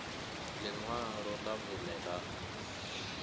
ḽi ṅwalo ḽa vhuṋe ḽa